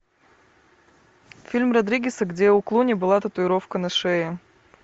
фильм родригеса где у клуни была татуировка на шее